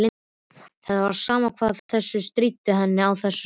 Það var sama hvað þau stríddu henni á þessu.